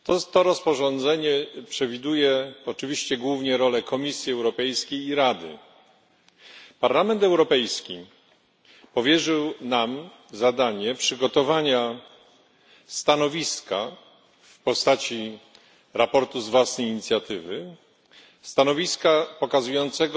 To rozporządzenie przewiduje oczywiście głównie rolę Komisji Europejskiej i Rady. Parlament Europejski powierzył nam zadanie przygotowania stanowiska w postaci sprawozdania z własnej inicjatywy, stanowiska pokazującego